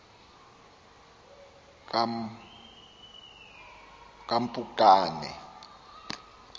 kampukane